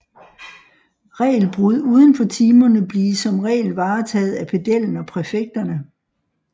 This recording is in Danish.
Regelbrud uden for timerne blive som regel varetaget af pedellen og præfekterne